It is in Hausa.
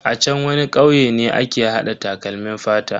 A chan wani kauye ne ake hada takalmin fata.